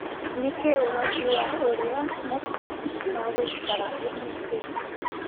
ni kĩĩ ũrathi wa uria matu maguikaraũmũthĩ